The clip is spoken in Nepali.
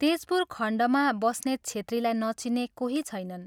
तेजपुर खण्डमा ' बस्नेत छेत्री ' लाई नचिन्ने कोही छैनन्।